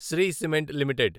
Shri cement limited